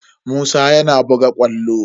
Musa yana buga ƙwallo.